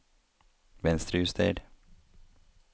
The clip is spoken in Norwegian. Venstrejuster